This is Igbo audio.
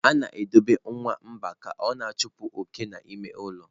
A na-edobe nwamba ka ọ na-achụpụ oke n'ime ụlọ.